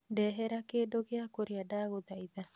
Ndehera kĩndũ gi kũria ndagũthaitha